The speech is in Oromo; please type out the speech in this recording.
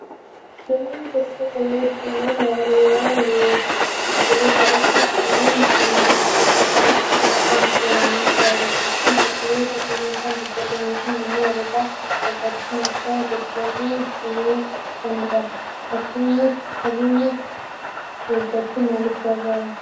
Namoonni tokko tokko yeroo dhibeen weeraraa yeroo ka'utti dhibeen tokko tokko kan akka koronaa vaayirasii fi dhukkuboota qilleensaan daddarbanii fi namoonni walirraa fagaachuun akka daddarbuu dhibee ittisaniifi. Fageenya eeggachuun maaliif gaariidha?